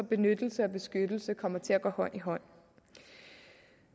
benyttelse og beskyttelse kommer til at gå hånd i hånd